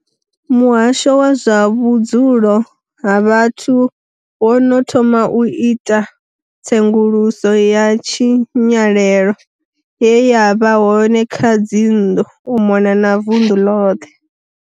Muhasho wa zwa vhudzulo ha vhathu wo no thoma u ita tsenguluso ya tshinyalelo ye ya vha hone kha dzinnḓu u mona na vunḓu ḽoṱhe.